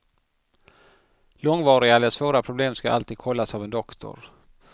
Långvariga eller svåra problem ska alltid kollas av en doktor.